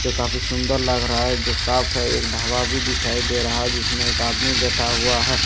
जो काफी सुंदर लग रहा है जो साफ है एक ढाबा भी दिखाई दे रहा है जिसमें एक आदमी बैठा हुआ है और दिन--